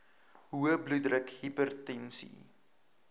hoë bloeddruk hipertensie